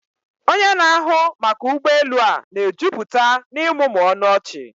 Onye na-ahụ maka ụgbọ elu a na-ejupụta na ịmụmụ ọnụ ọchị.